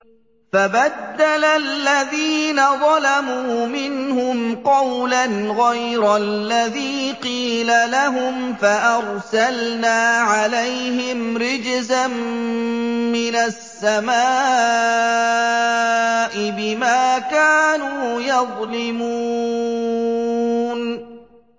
فَبَدَّلَ الَّذِينَ ظَلَمُوا مِنْهُمْ قَوْلًا غَيْرَ الَّذِي قِيلَ لَهُمْ فَأَرْسَلْنَا عَلَيْهِمْ رِجْزًا مِّنَ السَّمَاءِ بِمَا كَانُوا يَظْلِمُونَ